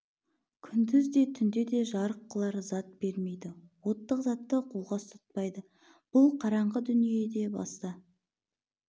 күндіз де түнде де жарық қылар зат бермейді оттық затты қолға ұстатпайды бұл қараңғы дүниеде баста